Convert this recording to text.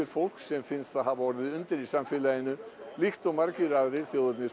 fólks sem finnst það hafa orðið undir í samfélaginu líkt og margir aðrir